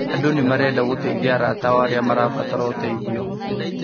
Andũ nĩmarenda gũteithia arata ao arĩa marabatara ũteithio